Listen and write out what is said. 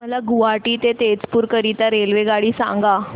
मला गुवाहाटी ते तेजपुर करीता रेल्वेगाडी सांगा